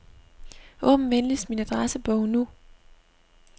Åbn venligst min adressebog nu.